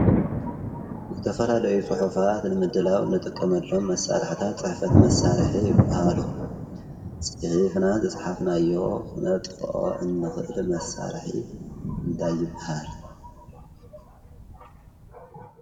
ዝተፈላለዩ ፅሑፋት ንምድላው ንጥቀመሉ መሳርሕታት ፅሕፈት መሳርሒ ይባሃሉ ።ፅሒፍና ዝፀሓፍናዮ ነጥፍኦ እንኽእል መሳርሒ እንታይ ይባሃል?